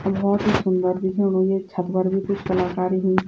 अर भौत ही सुंदर दिखेंणु येक छत फर बि क्वि कलाकारी हुईं।